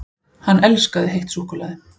HANN ELSKAÐI HEITT SÚKKULAÐI!